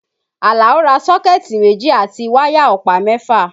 Àlàó ra sọ́kẹ̀tì méjì àti wáyà ọ̀pá mẹ́fà